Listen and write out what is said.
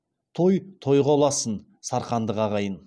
той тойға ұлассын сарқындық ағайын